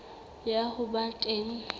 ya ho ba teng ho